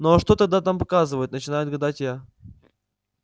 ну а что тогда там показывают начинаю гадать я